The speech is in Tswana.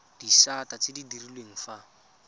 disata tse di direlwang fa